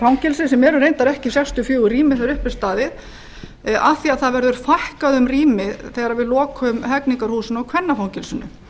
fangelsi sem er reyndar ekki sextíu og fjögur rými þegar upp er staðið af því að það verður fækkað um rými þegar við lokum hegningarhúsinu